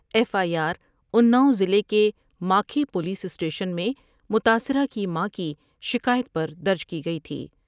F I آرانا ؤضلع کے ماکھی پولیس اسٹیشن میں متاثرہ کی ماں کی شکایت پر درج کی گئی تھی ۔